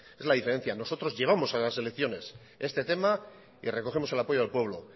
esa es la diferencia nosotros llevamos a las elecciones este tema y recogemos el apoyo del pueblo